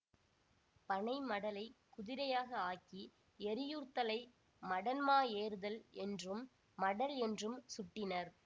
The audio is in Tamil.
பனை மடலைக் குதிரையாக ஆக்கி எறியூர்தலை மடன்மா ஏறுதல் என்றும் மடல் என்றும் சுட்டினர்